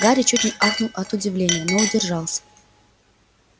гарри чуть не ахнул от удивления но удержался